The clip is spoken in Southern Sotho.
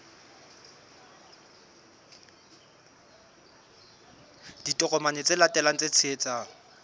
ditokomane tse latelang tse tshehetsang